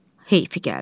Heyf gəldi.